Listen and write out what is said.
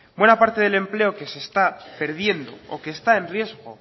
buena parte del empleo que se está perdiendo o que está en riesgo